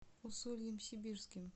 усольем сибирским